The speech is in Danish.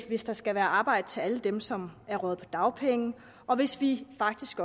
hvis der skal være arbejde til alle dem som er røget på dagpenge og hvis vi faktisk